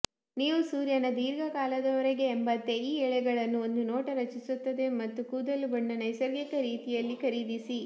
ನೀವು ಸೂರ್ಯನ ದೀರ್ಘಕಾಲದವರೆಗೆ ಎಂಬಂತೆ ಈ ಎಳೆಗಳನ್ನು ಒಂದು ನೋಟ ರಚಿಸುತ್ತದೆ ಮತ್ತು ಕೂದಲು ಬಣ್ಣ ನೈಸರ್ಗಿಕ ರೀತಿಯಲ್ಲಿ ಖರೀದಿಸಿ